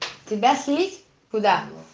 тебя слить куда